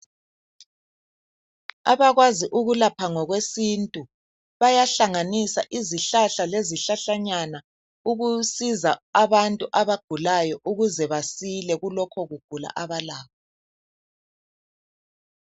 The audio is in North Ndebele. Abakwazi ukulapha ngokwesintu . Bayahlanganisa izihlahla lezihlahlanyana .Ukusiza abantu abagulayo ukuze basile kulokho ukugula abalakho.